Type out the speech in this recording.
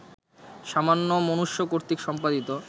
সামান্য মনুষ্যকর্তৃক সম্পাদিত